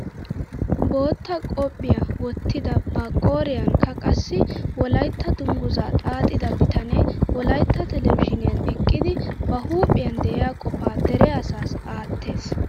Bootta qophphiyaa wottida ba qooriyanikka qassi wolaytta dunguzaa xaaxida bitanee wolaytta telebizhiniyaan eqqidi ba huuphphiyaan de'iyaa qofaa dere asaassi aattees!